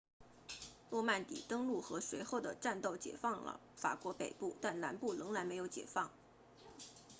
诺曼底登陆和随后的战斗解放了法国北部但南部仍然没有解放